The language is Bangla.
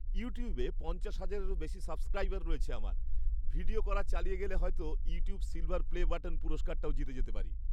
ইউটিউবে পঞ্চাশ হাজারেরও বেশি সাবস্ক্রাইবার রয়েছে আমার। ভিডিও করা চালিয়ে গেলে হয়তো "ইউটিউব সিল্‌ভার প্লে বাটন" পুরস্কারটাও জিতে যেতে পারি।